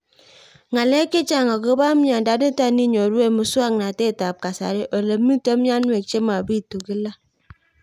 Ng'alek chechang' akopo miondo nitok inyoru eng' muswog'natet ab kasari ole mito mianwek che mapitu kila